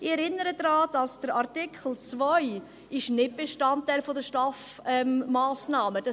Ich erinnere daran, dass der Artikel 2 nicht Bestandteil der STAF-Massnahmen ist;